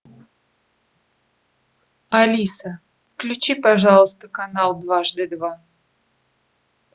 алиса включи пожалуйста канал дважды два